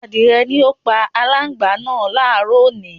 Adìrẹ ni ó pa aláǹgbá náà láàárọ̀ òní